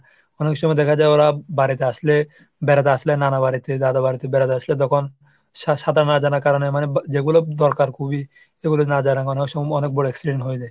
অনেক সময় দেখা যায় ওরা বাড়িতে আসলে বেড়াতে আসলে নানা বাড়িতে দাদা বাড়িতে বেড়াতে আসলে তখন, সা~ সাঁতার না জানার কারণে মানে যেগুলোর দরকার খুবই সেগুলো না জানায় অনেক সময় অনেক বড় accident হয়ে যায়।